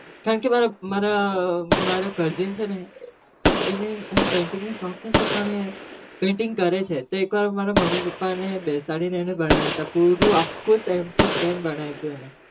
કારણ કે મારા કાકા નો છોકરો છે ને એન ચિત્ર નો સ્ખ છે ને